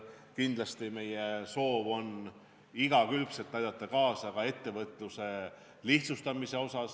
Kindlasti on meie soov aidata igakülgselt kaasa ka ettevõtluse lihtsustamisele.